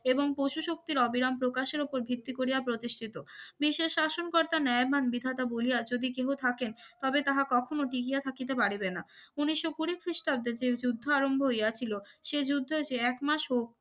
এবং প্রচুর শক্তির অবিরাম প্রকাশের উপর ভিত্তি করিয়া প্রতিষ্ঠিত বিশ্বের শাসনকর্তা নয়ারম্যান বিধাতা বলিয়া যদি কেউ থাকেন তবে তা কখনো দেখিয়া থাকিতে পারবেনা উন্নিশো কুড়ি খ্রিস্টাব্দে যে যুদ্ধ আরম্ভ হইয়াছিল শেষ যুদ্ধ যে এক মাসও